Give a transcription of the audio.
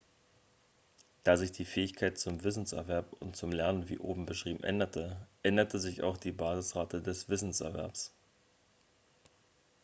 da sich die fähigkeit zum wissenserwerb und zum lernen wie oben beschrieben änderte änderte sich auch die basisrate des wissenserwerbs